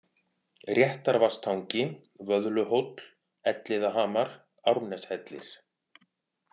Réttarvatnstangi, Vöðluhóll, Elliðahamar, Árneshellir